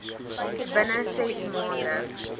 binne ses maande